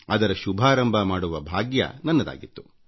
ಅದರ ಶುಭಾರಂಭ ಮಾಡುವ ಭಾಗ್ಯ ನನಗೆ ದೊರೆತಿತ್ತು